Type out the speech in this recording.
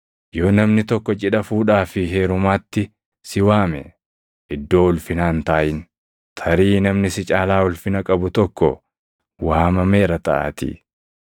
“Yoo namni tokko cidha fuudhaa fi heerumaatti si waame, iddoo ulfinaa hin taaʼin; tarii namni si caalaa ulfina qabu tokko waamameera taʼaatii.